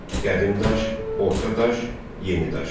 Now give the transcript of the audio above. Qədim daş, orta daş, yeni daş.